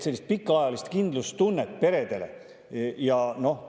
Sellist pikaajalist kindlustunnet peredele.